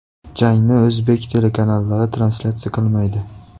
Jangni o‘zbek telekanallari translyatsiya qilmaydi.